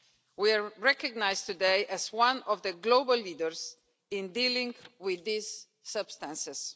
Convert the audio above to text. We are recognised today as one of the global leaders in dealing with these substances.